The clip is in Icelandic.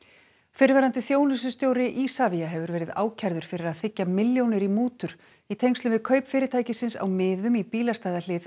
fyrrverandi þjónustustjóri Isavia hefur verið ákærður fyrir að þiggja milljónir í mútur í tengslum við kaup fyrirtækisins á miðum í bílastæðahlið